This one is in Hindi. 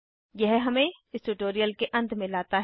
यह हमें इस ट्यूटोरियल के अंत में लाता है